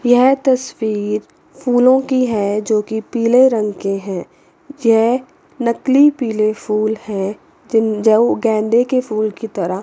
यह तस्वीर फूलों की है जो की पीले रंग के हैं यह नकली पीले फूल है जिन जो गेंदे के फूल की तरह--